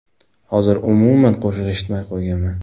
Hozir umuman qo‘shiq eshitmay qo‘yganman.